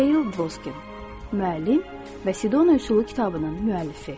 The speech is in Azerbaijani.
Heyl Dvoskin, müəllim və Sidona üsulu kitabının müəllifi.